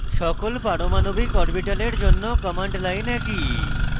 সকল পারমাণবিক orbitals জন্য command line একই